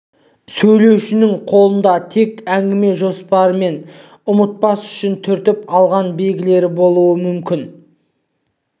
сөйлеушілердің қолында тек әңгіме жоспары мен ұмытпас үшін түртіп алған белгілері болуы мүмкін